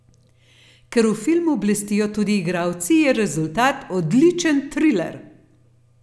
Ker v filmu blestijo tudi igralci, je rezultat odličen triler.